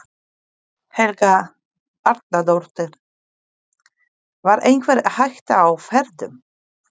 Helga Arnardóttir: Var einhver hætta á ferðum?